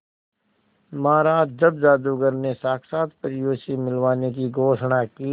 महाराज जब जादूगर ने साक्षात परियों से मिलवाने की घोषणा की